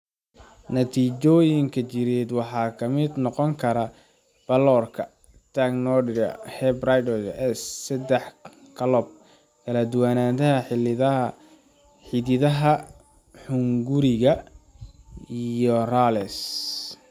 Natiijooyinka jireed waxaa ka mid noqon kara pallorka, tachycardia, hepatosplenomegaly, S sedax gallop, kala-duwanaanta xididdada xunguriga, iyo rales.